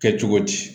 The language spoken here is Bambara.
Kɛ cogo di